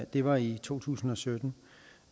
det var i to tusind og sytten